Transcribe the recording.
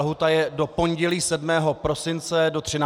Lhůta je do pondělí 7. prosince do 13. hodiny.